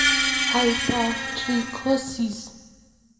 hypertrichosis?